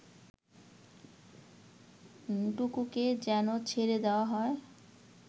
টুকুকে যেন ছেড়ে দেয়া হয়